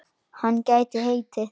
Hann gæti heitið